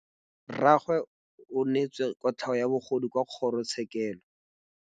Rragwe o neetswe kotlhaô ya bogodu kwa kgoro tshêkêlông.